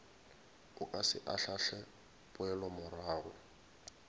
o ka se ahlaahle poelomorago